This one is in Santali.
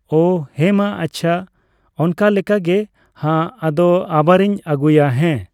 ᱚ, ᱦᱮᱸᱢᱟ ᱟᱪᱪᱷᱟ, ᱚᱱᱠᱟ ᱞᱮᱠᱟ ᱜᱮ ᱦᱟᱸᱜ ᱟᱫᱚ ᱟᱵᱟᱨᱤᱧ ᱟᱹᱜᱩᱭᱟ ᱦᱮᱸ᱾